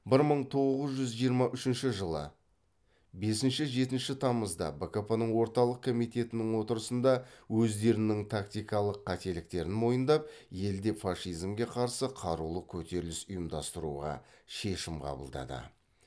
бір мың тоғыз жүз жиырма үшінші жылы бесінші жетінші тамызда бкп ның орталық комитетінің отырысында өздерінің тактикалық қателіктерін мойындап елде фашизмге қарсы қарулы көтеріліс ұйымдастыруға шешім қабылдады